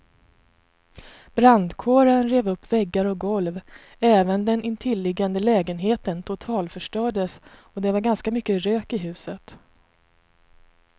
Brandkåren rev upp väggar och golv, även den intilliggande lägenheten totalförstördes och det var ganska mycket rök i huset.